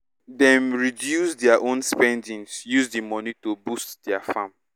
dem reduce dia own spendings use di money to boost dia farm